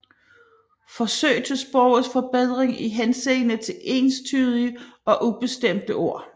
Forsøg til Sprogets Forbedring i Henseende til enstydige og ubestemte Ord